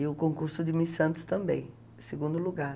E o concurso de Miss Santos também, segundo lugar.